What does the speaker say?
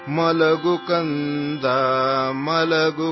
ಸಪನೇ ಕಾಟ್ ಲಾಯೇಗೀ